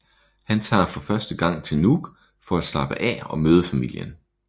Han tager for første gang til Nuuk for at slappe af og møde familien